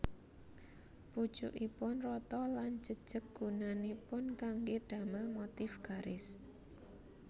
Pucukipun rata lan jejeg gunanipun kanggé damel motif garis